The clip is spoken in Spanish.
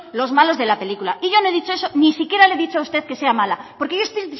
los malos de la película y yo no he dicho eso ni siquiera le he dicho a usted que sea mala porque yo estoy